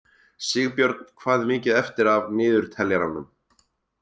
Sigbjörn, hvað er mikið eftir af niðurteljaranum?